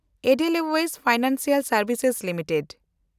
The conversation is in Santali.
ᱮᱰᱮᱞᱳᱣᱮᱥ ᱯᱷᱟᱭᱱᱟᱱᱥᱤᱭᱟᱞ ᱥᱮᱱᱰᱵᱷᱤᱥᱮᱥ ᱞᱤᱢᱤᱴᱮᱰ